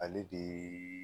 Ale de ye